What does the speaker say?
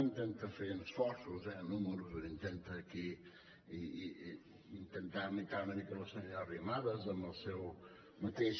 intenta fer esforços eh números intenta aquí intentar imitar una mica la senyora arrimadas amb el seu mateix